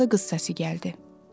Hardansa qız səsi gəldi.